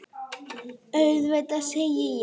Auðvitað, segi ég.